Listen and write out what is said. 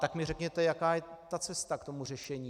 Tak mi řekněte, jaká je ta cesta k tomu řešení.